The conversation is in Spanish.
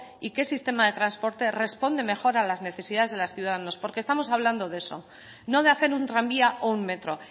y qué sistema de transporte responde mejor a las necesidades de los ciudadanos porque estamos hablando de eso no de hacer un tranvía o un metro